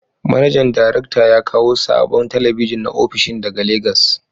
Manajan darakta ya kawo sabon talabijin na opishin ,daga Legas.